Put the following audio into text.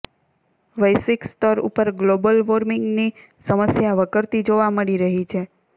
વૈશ્વિક સ્તર ઉપર ગ્લોબલ વોર્મિંગની સમસ્યા વકરતી જોવા મળી રહી છે